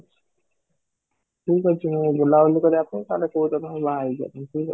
ଠିକ ଅଛି, ମୁଁ ବୁଲା ବୁଲି କରିବା ପାଇଁ ତାହେଲେ କୋଉ ଦିନ ମୁଁ ବାହା ହେଇ ଯାଉଛି